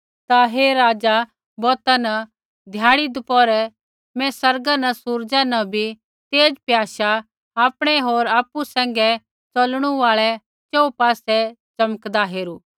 ता हे राज़ा बौता न ध्याड़ी दपौहरै मैं आसमाना न सूरज़ा न भी तेज़ प्याशा आपणै होर आपु सैंघै च़लणू आल़ै रै च़ोहू पासै च़मकदा हेरू